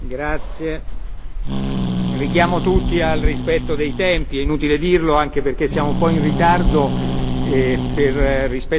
Richiamo tutti al rispetto dei tempi, è inutile dirlo, anche perché siamo un po' in ritardo rispetto alla votazione delle ore